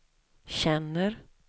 känner